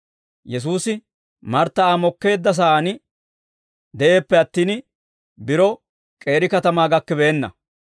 Yesuusi Martta Aa mokkeedda sa'aan de'eeppe attin, biro k'eeri katamaa gakkibeenna.